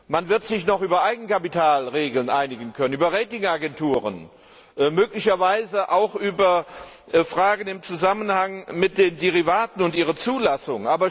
Man wird sich noch über Eigenkapitalregeln einigen können, über Rating Agenturen, möglicherweise auch über Fragen im Zusammenhang mit den Derivaten und ihrer Zulassung.